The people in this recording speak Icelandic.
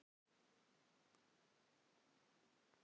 Já, mjög mikil áhrif, segir hún.